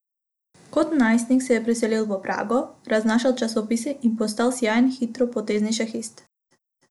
Kot najstnik se je preselil v Prago, raznašal časopise in postal sijajen hitropotezni šahist.